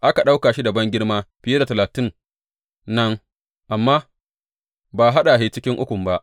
Aka ɗauka shi da bangirma fiye da Talatin nan, amma ba a haɗa shi cikin Ukun ba.